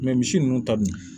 misi ninnu ta bi